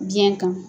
Biɲɛ kan